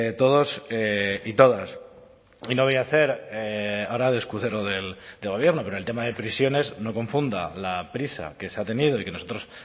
todos y todas y no voy a hacer ahora de escudero del gobierno pero el tema de prisiones no confunda la prisa que se ha tenido y que nosotros